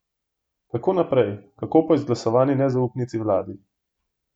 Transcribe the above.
Kako naprej, kako po izglasovani nezaupnici vladi?